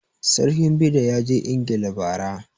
Sarkin Bida ya je ingila ba ra